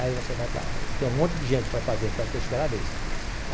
Aí você vai para... Tem um monte de gente para fazer, então você espera a vez.